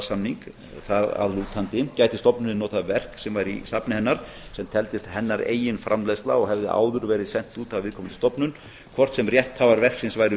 samningskvaðasamning þar að lútandi gæti stofnunin notað verk sem væri í safni hennar sem teldist hennar eigin framleiðsla og hefði áður verið sent út af viðkomandi stofnun hvort sem rétthafar verksins væru